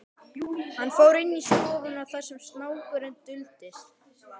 Hann fór inn í stofuna þar sem snákurinn duldist.